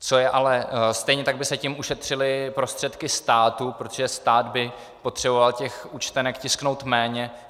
Stejně tak by se tím ušetřily prostředky státu, protože stát by potřeboval těch účtenek tisknout méně.